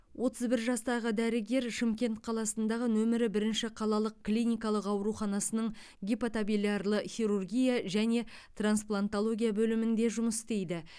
отыз бір жастағы дәрігер шымкент қаласындағы нөмірі бірінші қалалық клиникалық ауруханасының гипатобилярлы хирургия және трансплантология бөлімінде жұмыс істейді